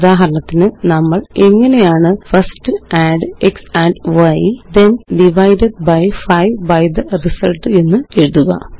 ഉദാഹരണത്തിന് നമ്മളെങ്ങനെയാണ് first add x and y then divide 5 by the result എന്നെഴുതുക